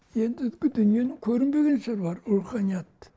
ендігі дүниенің көрінбеген сыры бар руханият